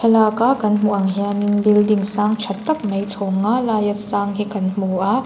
thlalak a kan hmuh ang hianin building sang tha tak mai chhawng nga laia sang hi kan hmu a.